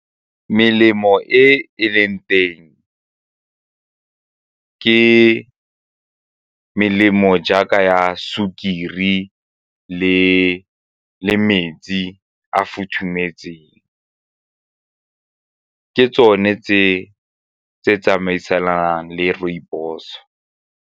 Melemo e leng teng ke melemo jaaka ya sukiri le metsi a futhumetseng ke tsone tse tsamaisanang le rooibos.